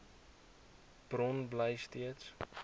bron bly steeds